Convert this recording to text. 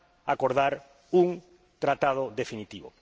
acordar un tratado definitivo.